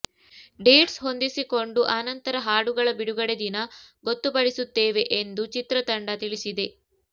dates ಹೊಂದಿಸಿಕೊಂಡು ಆನಂತರ ಹಾಡುಗಳ ಬಿಡುಗಡೆ ದಿನ ಗೊತ್ತು ಪಡಿಸುತ್ತೇವೆ ಎಂದು ಚಿತ್ರ ತಂಡ ತಿಳಿಸಿದೆ